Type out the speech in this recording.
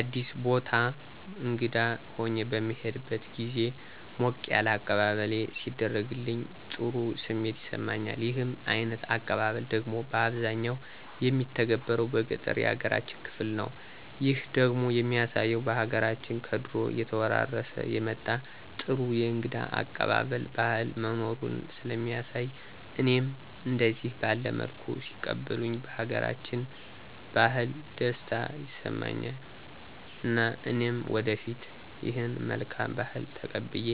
አዲስ ቦታ እንግዳ ሁኘ በምሄድበት ግዜ ሞቅ ያለ አቀባበለሌ ሲደረግልኝ ጥሩ ስሜት ይሰማኛል። ይህ አይነት አቀባበል ደግሞ ባብዛኛው የሚተገበረው በገጠሩ ያገራችን ክፍል ነው። ይህ ደግሞ የሚያሳየው በሀገራችን ከድሮ እየተወራረሠ የመጣ ጥሩ የእንግዳ አቀባበል ባህል መኖሩን ሥለሚያሣይ እኔም እደዚህ ባለ መልኩ ሲቀበሉኝ ባገራችን ባህል ደስታ ይሠማኝ እና እኔም ወደፊት ይህን መልካም ባህል ተቀብየ